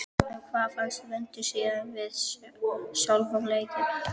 En hvað fannst Vöndu síðan um sjálfan leikinn?